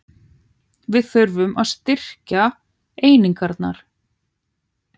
Við þurfum að styrkja einingarnar